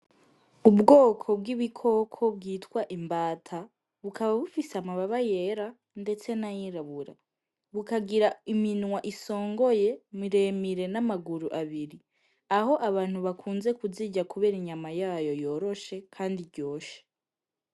Ubwoko bw'ibikoko bwitwa imbata bukaba bufise amababa yera, ndetse n'ayirabura bukagira iminwa isongoye miremire n'amaguru abiri aho abantu bakunze kuzija, kubera inyama yayo yoroshe, kandi ryoshe.